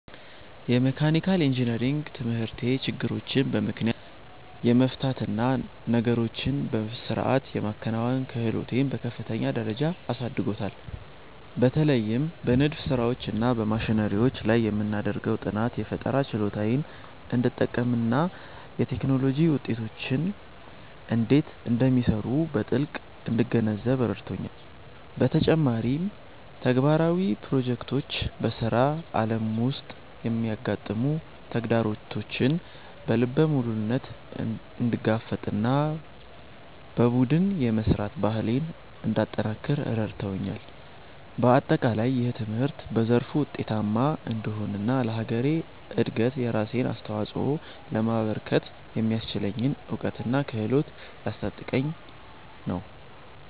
የመካኒካል ኢንጂነሪንግ ትምህርቴ ችግሮችን በምክንያት የመፍታት እና ነገሮችን በሥርዓት የማከናወን ክህሎቴን በከፍተኛ ደረጃ አሳድጎታል። በተለይም በንድፍ ሥራዎች እና በማሽነሪዎች ላይ የምናደርገው ጥናት፣ የፈጠራ ችሎታዬን እንድጠቀምና የቴክኖሎጂ ውጤቶች እንዴት እንደሚሰሩ በጥልቀት እንድገነዘብ ረድቶኛል። በተጨማሪም፣ ተግባራዊ ፕሮጀክቶች በሥራ ዓለም ውስጥ የሚያጋጥሙ ተግዳሮቶችን በልበ ሙሉነት እንድጋፈጥና በቡድን የመሥራት ባህሌን እንዳጠነክር አድርገውኛል። በአጠቃላይ፣ ይህ ትምህርት በዘርፉ ውጤታማ እንድሆንና ለሀገሬ እድገት የራሴን አስተዋፅኦ ለማበርከት የሚያስችለኝን እውቀትና ክህሎት እያስታጠቀኝ ነው።